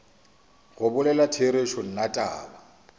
go bolela therešo nna taba